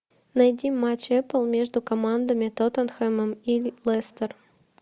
найди матч апл между командами тоттенхэмом и лестер